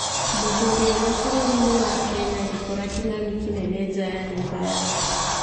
Mũthuri ũmwe bũrũri-inĩ wa Kenya agĩkora kĩng'ang'i kinene nja ya nyũmba yake